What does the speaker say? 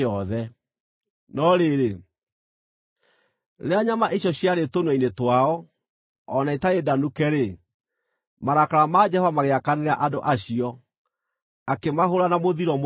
No rĩrĩ, rĩrĩa nyama icio ciarĩ tũnua-inĩ twao, o na itarĩ ndanuke-rĩ, marakara ma Jehova magĩakanĩra andũ acio, akĩmahũũra na mũthiro mũnene.